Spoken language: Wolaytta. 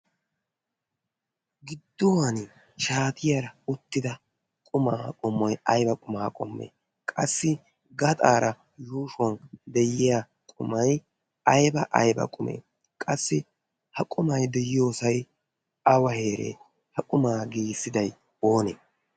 gidduwan shaatiyaara uttida qumaa qumoi aiba qumaa qommoo? qassi gaxaara yuushuwan de7iya qumai aiba aiba qumee? qassi ha qumai de7iyoosai awa heeree ha qumaa giissidai oonee?